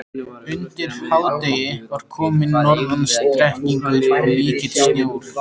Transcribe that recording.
Undir hádegi var kominn norðan strekkingur og mikill sjór.